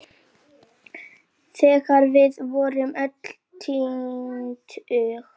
Þegar við vorum öll tvítug.